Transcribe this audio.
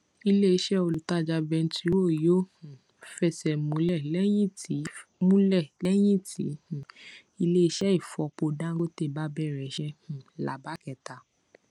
iléiṣẹ olùtajà bẹntiró yóò um fẹsẹ múlẹ lẹyìn tí múlẹ lẹyìn tí um iléiṣẹ ìfọpo dangote bá bẹrẹ iṣẹ um lába kẹta